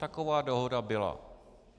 Taková dohoda byla.